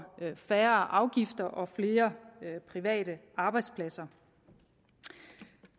færre afgifter og flere private arbejdspladser